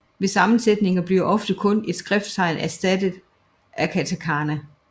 Ved sammensætninger bliver ofte kun et skrifttegn erstattet af katakana